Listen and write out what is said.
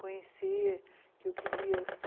Conhecer, que eu queria.